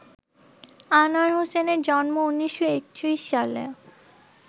আনোয়ার হোসেনের জন্ম ১৯৩১ সালে